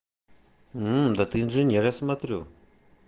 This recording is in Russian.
мм да ты инженер я смотрю